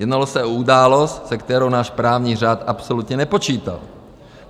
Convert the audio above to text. Jednalo se o událost, se kterou náš právní řád absolutně nepočítal.